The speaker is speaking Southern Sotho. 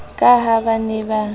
ka ha ba ne ba